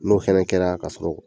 N'o hɛrɛ kɛra k'a sɔrɔ